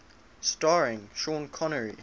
starring sean connery